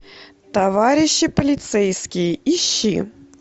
товарищи полицейские ищи